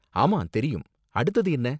ஆமா தெரியும். அடுத்தது என்ன?